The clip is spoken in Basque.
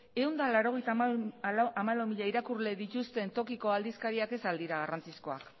ehun eta laurogeita hamalau mila irakurle dituzten tokiko aldizkariak ez al dira garrantzizkoak